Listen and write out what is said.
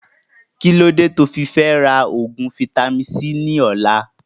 Kílódé tí ofi Fẹra oògùn vitamin-c ni ọ̀la